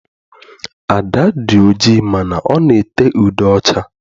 Ada dị oji mana ọ na ete ude ọcha.